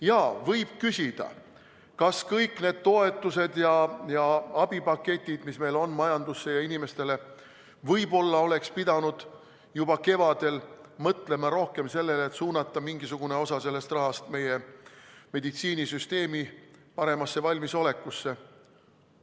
Jaa, võib küsida, kas kõik need toetused ja abipaketid, mis meil on majandusse ja inimestele, et võib-olla oleks pidanud juba kevadel mõtlema rohkem sellele, et suunata mingisugune osa sellest rahast meie meditsiinisüsteemi paremasse valmisolekusse.